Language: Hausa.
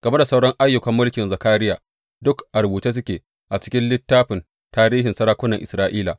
Game da sauran ayyukan mulkin Zakariya, duk a rubuce suke a cikin littafin tarihin sarakunan Isra’ila.